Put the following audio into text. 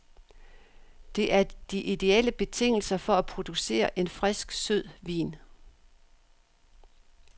Det er de idéelle betingelser for at producere en frisk, sød vin.